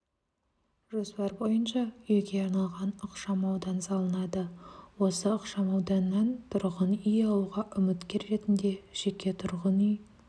жоспар бойынша үйге арналған ықшамаудан салынады осы ықшамауданнан тұрғын үй алуға үміткер ретінде жеке тұрғын үй